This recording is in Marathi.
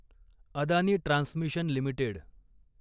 Adani Transmission limited